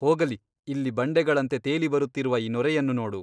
ಹೋಗಲಿ ಇಲ್ಲಿ ಬಂಡೆಗಳಂತೆ ತೇಲಿಬರುತ್ತಿರುವ ಈ ನೊರೆಯನ್ನು ನೋಡು.